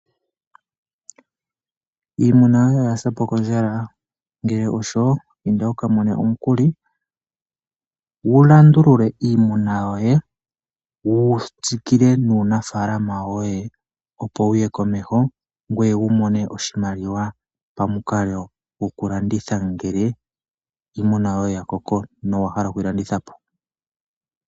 Iimuna yoye oyasapo kondjala ngele osho inda wukamone omukuli wulandulule iimuna yoye wutsikile nuunafalama woye opo wuye komeho ngweye wumone oshimaliwa pamukalo gokulanditha ngele iimuna yoye yakoko nowahala okuyi landithapo.